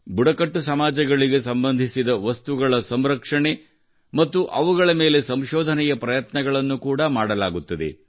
ಬುಡಕಟ್ಟು ಸಮಾಜಗಳಿಗೆ ಸಂಬಂಧಿಸಿದ ವಸ್ತುಗಳ ಸಂರಕ್ಷಣೆ ಮತ್ತು ಅವುಗಳ ಮೇಲೆ ಸಂಶೋಧನೆಯ ಪ್ರಯತ್ನಗಳನ್ನು ಕೂಡಾ ಮಾಡಲಾಗುತ್ತದೆ